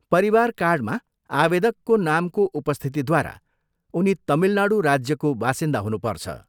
परिवार कार्डमा आवेदकको नामको उपस्थितिद्वारा उनी तमिलनाडू राज्यको बासिन्दा हुनुपर्छ।